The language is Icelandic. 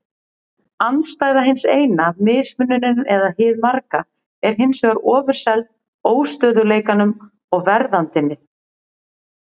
Andstæða hins eina, mismunurinn eða hið marga, er hins vegar ofurseld óstöðugleikanum og verðandinni.